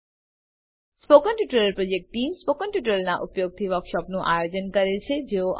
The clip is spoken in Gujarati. spoken tutorial project team spoken ટ્યુટોરીયલોનાં ઉપયોગથી વર્કશોપોનું આયોજન કરે છે